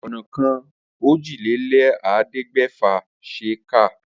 Ònàka òjìlélẹ̀ẹ́dẹ́gbẹ̀fà ṣe é kà.